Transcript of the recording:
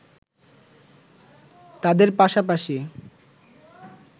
তাদের পাশাপাশি